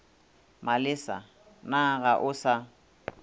malesa na ga o sa